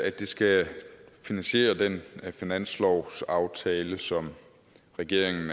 at det skal finansiere den finanslovsaftale som regeringen